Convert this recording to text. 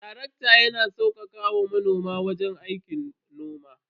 Tarakta yana taimakawa manoma waje saukaka aikin noma.